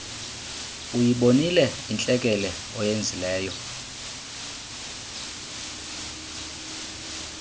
uyibonile intlekele oyenzileyo